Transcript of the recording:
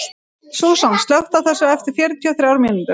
Súsan, slökktu á þessu eftir fjörutíu og þrjár mínútur.